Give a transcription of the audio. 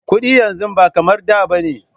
Kudi yanzu ba kamar da ba ne.